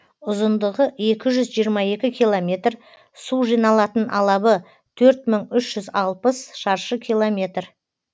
ұзындығы екі жүз жиырма екі километр су жиналатын алабы төрт мың үш жүз алпыс шаршы километр